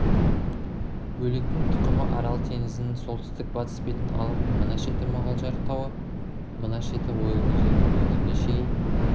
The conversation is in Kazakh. бөлектің тұқымы арал теңізінің солтүстік батыс бетін алып мына шеті мұғалжар тауы мына шеті ойыл өзенінің өңіріне шейін